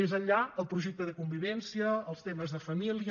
més enllà el projecte de convivència els temes de família